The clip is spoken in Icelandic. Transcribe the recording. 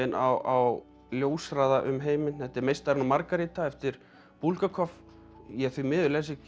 á ljóshraða um heiminn þetta er meistarinn og margaríta eftir Búlgakov ég því miður les ekki